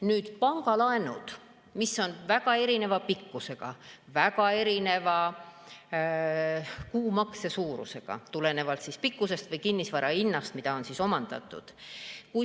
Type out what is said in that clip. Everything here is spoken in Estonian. Nüüd, pangalaenud on väga erineva pikkusega, väga erineva kuumakse suurusega, tulenevalt pikkusest või omandatud kinnisvara hinnast.